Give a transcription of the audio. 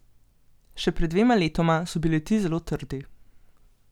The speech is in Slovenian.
Še pred dvema letoma so bili ti zelo trdi.